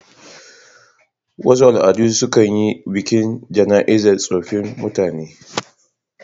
Wasu al'adu sukan yi biki a jana'izan tsofin mutne